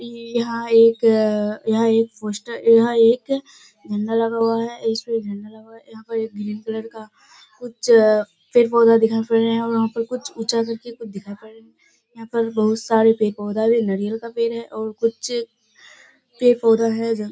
यहाँ एक अ-अ-अ यहाँ एक पोस्टर यहाँ एक झंडा लगा हुआ है। इसमें एक झंडा लगा हुआ है। यहाँ पे एक ग्रीन कलर का कुछ पेड़-पौधा दिखाई पड़ रहा है और वहॉँ पे कुछ ऊचा कर के कुछ दिखाई पड़ रहा है। यहाँ पर पेड़-पौधा है और कुछ पेड़-पौधा है जहाँ --